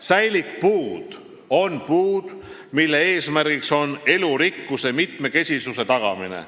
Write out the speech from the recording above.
Säilikpuud on puud, mille eesmärk on elurikkuse mitmekesisuse tagamine.